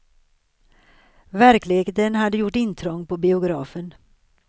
Verkligheten hade gjort intrång på biografen.